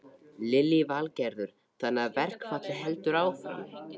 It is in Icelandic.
Lillý Valgerður: Þannig að verkfallið heldur áfram?